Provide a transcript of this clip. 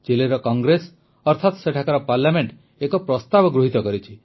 ଚିଲିର congress ଅର୍ଥାତ ସେଠାକାର parliament ଏକ ପ୍ରସ୍ତାବ ଗୃହୀତ କରିଛି